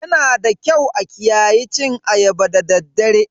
Yanada kyau a kiyaye cin ayaba da daddare.